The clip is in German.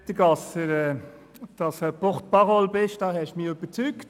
Ja, lieber Grossrat Gasser, dass Sie ein «porte parole» sind, davon haben Sie mich überzeugt.